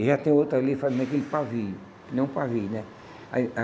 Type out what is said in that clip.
E já tem outra ali fazendo aquele pavio, que nem um pavio, né? Aí